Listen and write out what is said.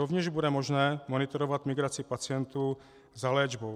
Rovněž bude možné monitorovat migraci pacientů za léčbou.